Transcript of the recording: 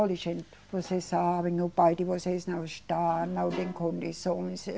Olhe, gente, vocês sabem, o pai de vocês não está, não tem condições.